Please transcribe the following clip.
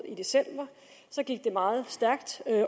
i december så gik det meget stærkt